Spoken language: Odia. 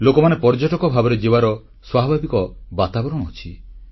ଲୋକମାନେ ପର୍ଯ୍ୟଟକ ଭାବରେ ଯିବାର ସ୍ୱାଭାବିକ ବାତାବରଣ ଅଛି